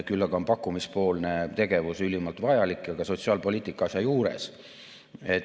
Küll aga on pakkumise poolel tegevus ülimalt vajalik ja ka sotsiaalpoliitika selle asja juures.